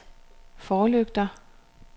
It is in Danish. forlygter